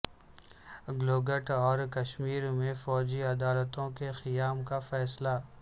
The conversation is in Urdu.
گلگت اور کشمیر میں فوجی عدالتوں کےقیام کا فیصلہ